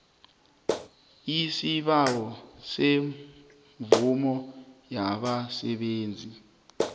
isibawo semvumo yabasebenzi